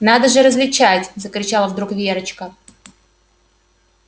надо же различать закричала вдруг верочка